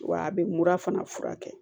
Wa a bɛ mura fana furakɛ